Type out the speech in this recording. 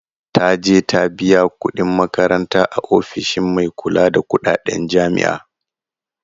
Taje ta biya kuɗin makaranta a ofishin mai kula da kuɗaɗen jami'a